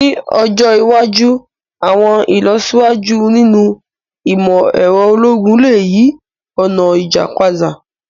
Ni ọjọ iwaju, àwọn ilọsiwaju ninu imọ-ẹrọ ologun le yi ọna ija pada.